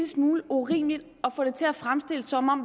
smule urimeligt at få det til at fremstå som om